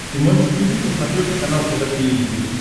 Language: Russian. ты можешь включить на смотрешке канал тв три эйч ди